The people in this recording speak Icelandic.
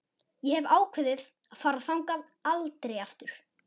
Ég hef ákveðið að fara þangað aldrei aftur.